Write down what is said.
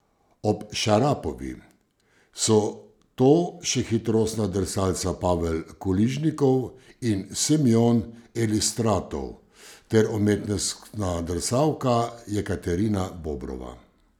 Ob Šarapovi so to še hitrostna drsalca Pavel Kuližnikov in Semjon Elistratov ter umetnostna drsalka Jekaterina Bobrova.